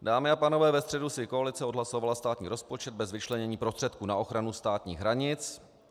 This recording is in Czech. Dámy a pánové, ve středu si koalice odhlasovala státní rozpočet bez vyčlenění prostředků na ochranu státních hranic.